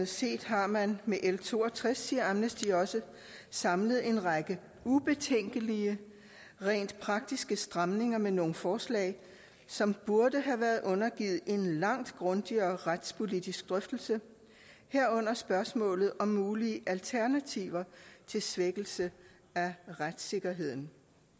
set har man med l62 samlet en række ubetænkelige rent praktiske stramninger med nogle forslag som burde have været undergivet en langt grundigere retspolitisk drøftelse herunder spørgsmålet om mulige alternativer til svækkelse af retssikkerheden